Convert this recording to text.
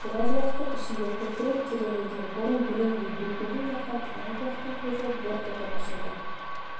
біраз уақыттың ішінде көкірек тереңінде бұрын білінбей бүлкілдеп жатқан талай бұлақтың көзі бұрқ етіп ашылды